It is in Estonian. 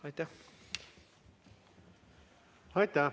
Aitäh!